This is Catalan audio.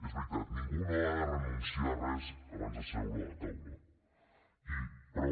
és veritat ningú no ha de renunciar a res abans de seure a la taula però